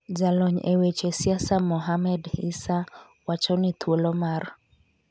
Jalony e weche siasa Mohamed Issa, wacho ni thuolo mar